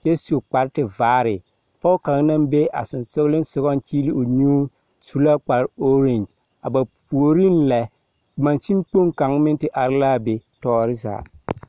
kyɛ su kpare tevaare. pɔge kaŋa naŋ be a sonsogelensogaŋ a kyeele o nyuu su la kpare oogeŋgyi. A ba puoriŋ lɛ mansin kpoŋ kaŋ meŋ te are la be tɔɔre zaa.